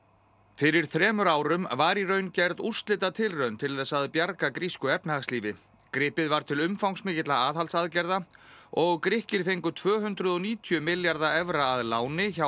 fyrir þremur árum var í raun gerð úrslitatilraun til þess að bjarga grísku efnahagslífi gripið var til umfangsmikilla aðhaldsaðgerða og Grikkir fengu tvö hundruð og níutíu milljarða evra að láni hjá